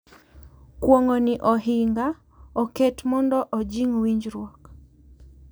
Kuong’o ni ohinga oket mondo ojing’ winjruok